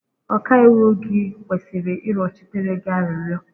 Ọkaiwu gị kwesịrị ịrịọchitere gị arịrịọ